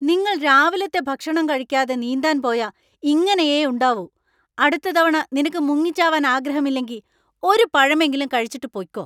നിങ്ങൾ രാവിലത്തെ ഭക്ഷണം കഴിയ്ക്കാതെ നീന്താൻ പോയാ ഇങ്ങനെയേ ഉണ്ടാവൂ. അടുത്ത തവണ നിനക്കു മുങ്ങിച്ചാവാൻ ആഗ്രഹം ഇല്ലെങ്കി, ഒരു പഴമെങ്കിലും കഴിച്ചിട്ടു പൊയ്ക്കോ .